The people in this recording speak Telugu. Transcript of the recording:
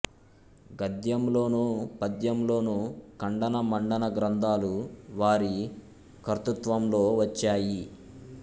గద్యంలోనూ పద్యంలోనూ ఖండన మండన గ్రంథాలు వారి కర్తృత్వంలో వచ్చాయి